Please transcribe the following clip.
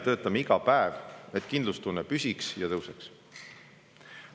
Töötame iga päev selle nimel, et kindlustunne püsiks ja tõuseks.